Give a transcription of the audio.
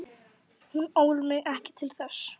Hún ól mig ekki til þess.